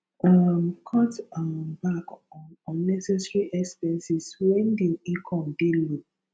um cut um back on unnecessary expenses when di income dey low